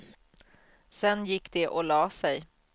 Sen gick de och la sig.